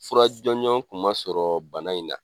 Fara jɔnjɔn kun ma sɔrɔ bana in na